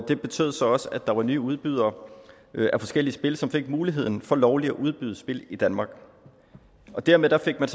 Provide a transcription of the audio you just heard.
det betød så også at der var nye udbydere af forskellige spil som fik mulighed for lovligt at udbyde spil i danmark dermed fik man